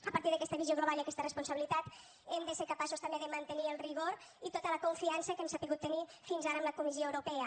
a partir d’aquesta visió global i aquesta responsabilitat hem de ser capaços també de mantenir el rigor i tota la confiança que hem sabut tenir fins ara amb la comissió europea